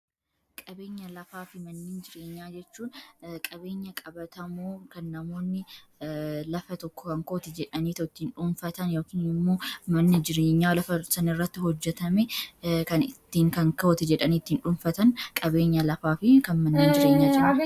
qabeenya lafaa fi manna jireenyaa jechuun qabeenya qabatamuu kan namoonni lafa tokko ankoota jedhanii totiin dhuunfatan yk yommuu manna jireenyaa lafa sanirratti hojjetame kan ittiin kankawota jedhanii ittiin dhuunfatan qabeenya lafaa fi kan manna jireenya